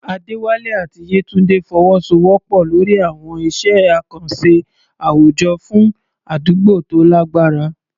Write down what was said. Adewale àti Yetunde fọwọ́sowọ́pọ̀ lórí àwọn iṣẹ́ àkànṣe àwùjọ fún àdúgbò tó lágbára.